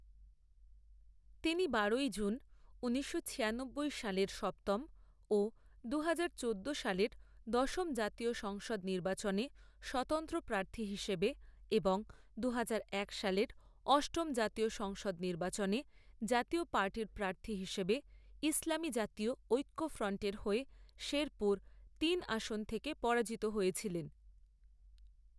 তিনি বারোই জুন ঊনিশশো ছিয়ানব্বই সালের সপ্তম ও দুহাজার চোদ্দো সালের দশম জাতীয় সংসদ নির্বাচনে স্বতন্ত্র প্রার্থী হিসেবে এবং দুহাজার এক সালের অষ্টম জাতীয় সংসদ নির্বাচনে জাতীয় পার্টির প্রার্থী হিসেবে ইসলামী জাতীয় ঐক্যফ্রন্টের হয়ে শেরপুর তিন আসন থেকে পরাজিত হয়েছিলেন।